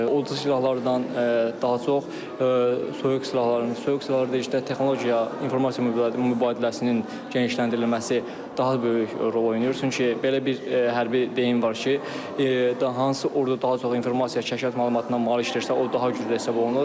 Odur ki, silahlardan daha çox, soyuq silahların, soyuq silahlarda da işte texnologiya, informasiya mübadiləsinin genişləndirilməsi daha böyük rol oynayır, çünki belə bir hərbi deyim var ki, hansı ordu daha çox informasiya, kəşfiyyat məlumatına malikdirsə, o daha güclü hesab olunur.